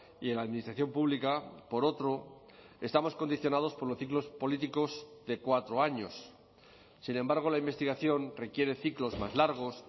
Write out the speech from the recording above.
y en la administración pública por otro estamos condicionados por los ciclos políticos de cuatro años sin embargo la investigación requiere ciclos más largos